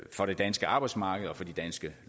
for det danske arbejdsmarked og for de danske